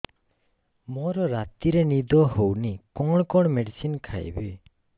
ମୋର ରାତିରେ ନିଦ ହଉନି କଣ କଣ ମେଡିସିନ ଖାଇବି